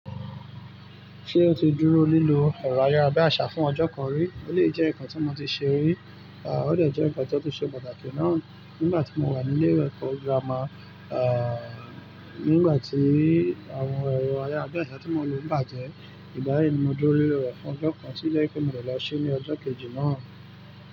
Ṣé o ti dúró lílo ẹ̀rọ ayárabíàṣá fún ọjọ́ kan rí? Ó lè jẹ́ nǹkan tí mo ti ṣe rí. Òdè jẹ́ ǹkan tó tún ṣe pàtàkì náà, nígbàtí mo wà ní ilé ẹ̀kọ́ girama ehn nígbàtí àwọn ìgbà yìí ni mo dúró lílo rẹ̀ fún ọjọ́ kan, tó jẹ́ wípé mo dè lọ ṣe ní ọjọ́ kejì náà.